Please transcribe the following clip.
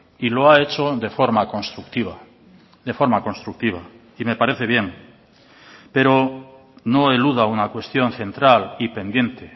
y lo ha hecho de forma constructiva de forma constructiva y me parece bien pero no eluda una cuestión central y pendiente